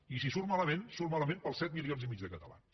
i si surt malament surt malament per als set milions i mig de catalans